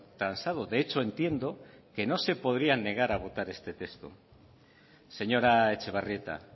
transado de hecho entiendo que no se podrían negar a votar este texto señora etxebarrieta